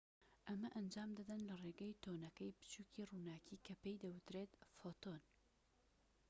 ئەمە ئەنجام دەدەن لە ڕێگەی تەنۆکەی بچووکی ڕووناكی کە پێی دەوترێت فۆتۆن